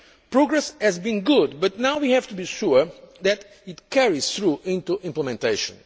Progress has been good, but now we have to be sure that it carries through into implementation.